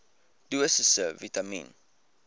dosisse vitamien